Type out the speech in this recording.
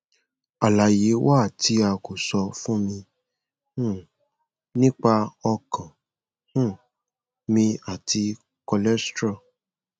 alaye wa ti a ko sọ fun mi um nipa ọkan um mi ati cholesterol